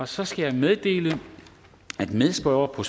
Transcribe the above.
så skal jeg meddele at medspørger på